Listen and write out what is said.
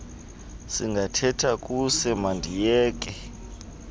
singathetha kuse mandiyeke